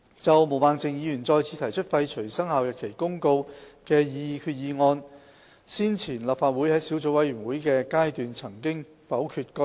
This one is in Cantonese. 就毛孟靜議員再次提出廢除《生效日期公告》的決議案，先前立法會在小組委員會的階段曾否決該議案。